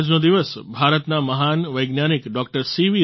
આજનો દિવસ ભારતના મહાન વૈજ્ઞાનિક ડોક્ટર સી